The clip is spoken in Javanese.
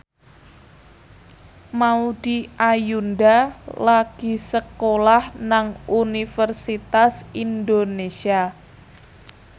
Maudy Ayunda lagi sekolah nang Universitas Indonesia